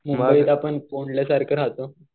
मुंबईत आपण कोंडल्यासारखं राहतो.